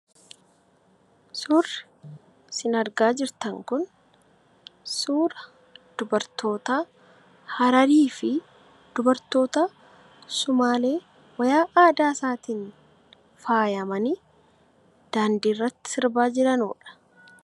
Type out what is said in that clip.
Suurri isin argaa jirtan kun suura dubartoota Harariifi dubartoota Sumaalee uffata aadaa isaaniitiin faayamanii daandii irratti sirbaa jiraniidha.